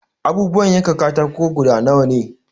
Abubuwan yankan katako guda nawa ne?